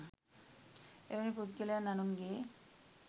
එවැනි පුද්ගලයන් අනුන්ගේ